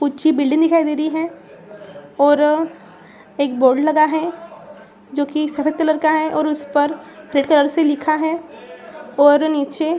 ऊंची बिल्डिंग दिखाई दे रही है और एक बोर्ड लगा है जो की सफ़ेद कलर का है और उस पर रेड कलर से लिखा है । और नीचे --